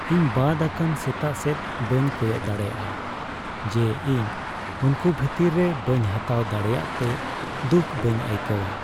ᱤᱧ ᱵᱟᱫ ᱟᱠᱟᱱ ᱥᱮᱛᱟ ᱥᱮᱫ ᱵᱟᱹᱧ ᱠᱚᱭᱚᱜ ᱫᱟᱲᱮᱭᱟᱜᱼᱟ ᱡᱮ ᱤᱧ ᱩᱱᱠᱩ ᱵᱷᱤᱛᱤᱨ ᱨᱮ ᱵᱟᱹᱧ ᱦᱟᱛᱟᱣ ᱫᱟᱲᱮᱭᱟᱜᱼᱛᱮ ᱫᱩᱠ ᱵᱟᱹᱧ ᱟᱹᱭᱠᱟᱹᱣᱟ ᱾